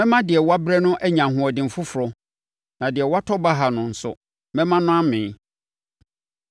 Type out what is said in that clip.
Mɛma deɛ wabrɛ no anya ahoɔden foforɔ, na deɛ watɔ baha no nso mɛma no amee.”